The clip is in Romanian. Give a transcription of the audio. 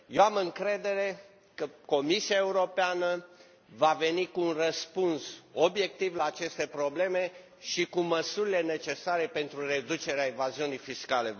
Eu am încredere că Comisia Europeană va veni cu un răspuns obiectiv la aceste probleme și cu măsurile necesare pentru reducerea evaziunii fiscale.